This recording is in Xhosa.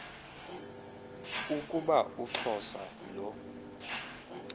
ukuba uxhosa lo